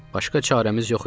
Başqa çarəmiz yox idi.